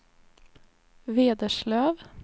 Vederslöv